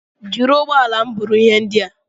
Jiri ụgbọala m buru ihe ndị a!